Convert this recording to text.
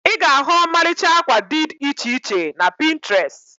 Ị ga-ahu ọmalịcha akwa did iche iche na Pịntrest